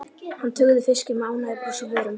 Hann tuggði fiskinn með ánægjubros á vörunum.